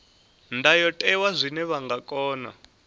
ndayotewa zwine vha nga kona